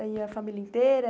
E a família inteira?